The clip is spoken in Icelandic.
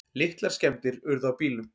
Litlar skemmdir urðu á bílnum.